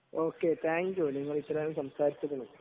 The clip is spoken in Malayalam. ഓക്കേ. താങ്ക് യു നിങ്ങൾ ഇത്രനേരം സംസാരിച്ചതിന്.